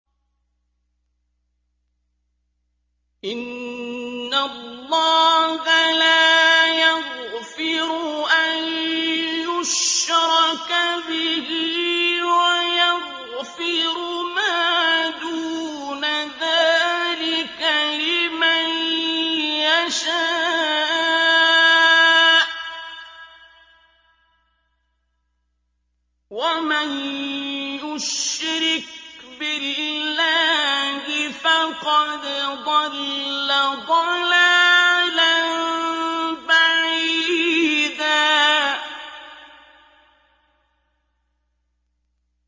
إِنَّ اللَّهَ لَا يَغْفِرُ أَن يُشْرَكَ بِهِ وَيَغْفِرُ مَا دُونَ ذَٰلِكَ لِمَن يَشَاءُ ۚ وَمَن يُشْرِكْ بِاللَّهِ فَقَدْ ضَلَّ ضَلَالًا بَعِيدًا